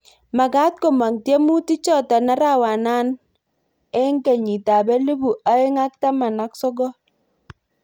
Makat komong tiemutik jotok arawana eng ekenyit elibu aeng ak taman ak sokol.